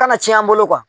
Kana cɛn an bolo